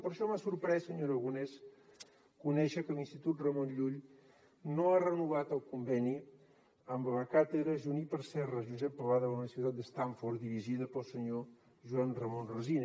per això m’ha sorprès senyor aragonès conèixer que l’institut ramon llull no ha renovat el conveni amb la càtedra juníper serra josep pla de la universitat de stanford dirigida pel senyor joan ramon resina